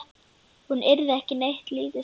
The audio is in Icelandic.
Hún yrði ekki neitt lítið sár.